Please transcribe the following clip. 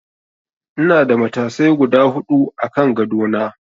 Ina da matasai guda huɗu a kan gado na.